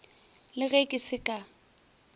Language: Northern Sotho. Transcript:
le ge ke se ka